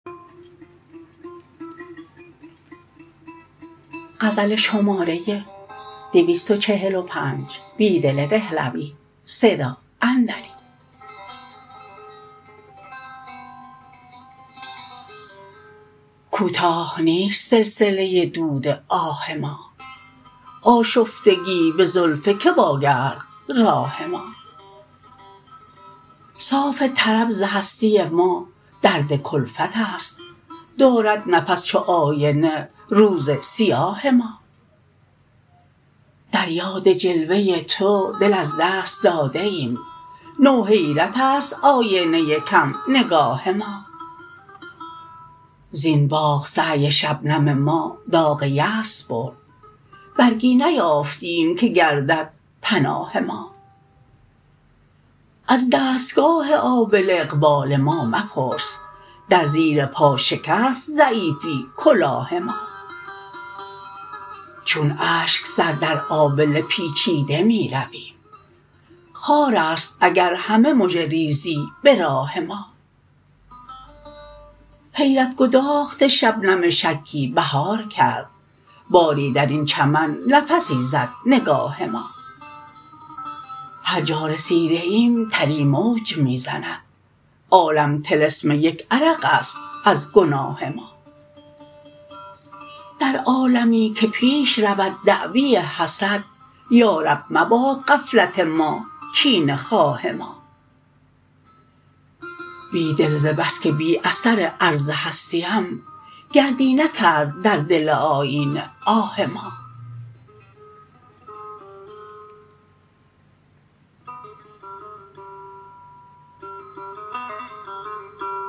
کوتاه نیست سلسله دود آه ما آشفتگی به زلف که واگرد راه ما صاف طرب ز هستی مادردکلفت است دارد نفس چو آینه روز سیاه ما دریاد جلوه تو دل از دست داده ایم نو حیرت است آینه کم نگاه ما زین باغ سعی شبنم ما داغ یأس برد برگی نیافتیم که گردد پناه ما از دستگاه آبله اقبال ما مپرس درزیرپا شکست ضعیفی کلاه ما چون اشک سردرآبله پیچیده می رویم خاراست اگر همه مژه ریزی به راه ما حیرت گداخت شبنم شکی بهارکرد باری درین چمن نفسی زد نگاه ما هرجا رسیده ایم تری موج می زند عالم طلسم یک عرق است ازگناه ما در عالمی که فیش رود دعوی حسد یارب مباد غفلت ماکینه خواه ما بیدل ز بسکه بی اثر عرض هستی ام کردی نکرد در دل آیینه آه ما